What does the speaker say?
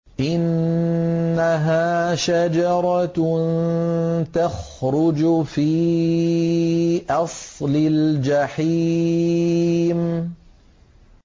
إِنَّهَا شَجَرَةٌ تَخْرُجُ فِي أَصْلِ الْجَحِيمِ